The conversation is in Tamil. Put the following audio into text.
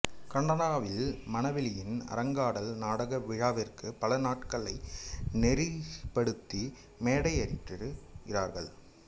கனடாவில் மனவெளியின் அரங்காடல் நாடக விழாவிற்காக பல நாடகங்களை நெறிப்படுத்தி மேடையேற்றியிருக்கிறார்